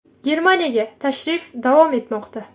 Germaniyaga tashrif davom etmoqda.